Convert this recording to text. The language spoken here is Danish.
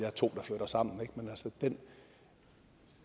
er to der flytter sammen men den